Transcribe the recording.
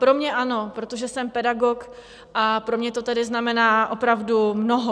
Pro mě ano, protože jsem pedagog, a pro mě to tedy znamená opravdu mnoho.